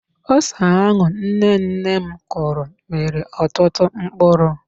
Ose ahụ nnenne m kụrụ mịrị ọtụtụ mkpụrụ.